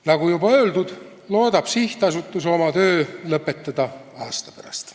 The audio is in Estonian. Nagu juba öeldud, loodab sihtasutus oma töö lõpetada aasta pärast.